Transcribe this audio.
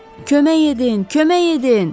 Kömək edin, kömək edin!